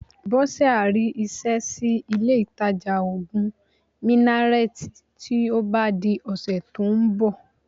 Bọ́sẹ̀ á rí iṣẹ́ sí ilé-ìtajà òògùn Minnaret tí ó bá di ọ̀sẹ̀ tó ń bọ̀